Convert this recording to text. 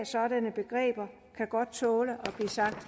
sådanne begreber kan godt tåle at blive sagt